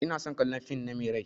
Ina son kallan fin na Mai rai.